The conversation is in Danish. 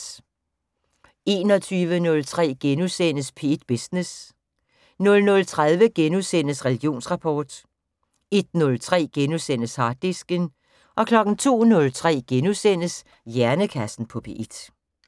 21:03: P1 Business * 00:30: Religionsrapport * 01:03: Harddisken * 02:03: Hjernekassen på P1 *